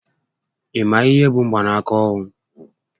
Ị ma ihé bụ mgbanaka ohu?